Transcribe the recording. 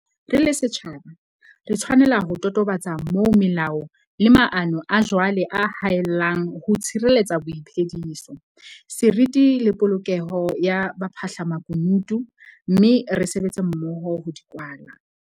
Re le setjhaba, re tshwanela ho totobatsa moo melao le maano a jwale a haellang ho tshireletsa boiphediso, seriti le polokeho ya baphahlamaku nutu - mme re sebetse mmoho ho di kwala.